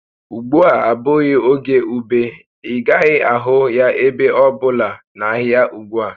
Ùgbúà abụghị oge ube, ị gaghị ahụ ya ebe ọ bụla n'ahịa ugbu a